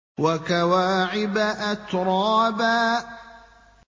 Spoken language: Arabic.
وَكَوَاعِبَ أَتْرَابًا